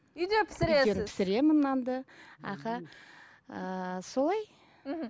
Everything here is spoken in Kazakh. үйде пісіресіз үйден пісіремін нанды аха ыыы солай мхм